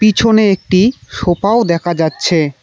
পিছনে একটি সোফাও দেখা যাচ্ছে।